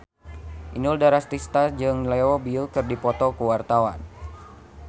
Inul Daratista jeung Leo Bill keur dipoto ku wartawan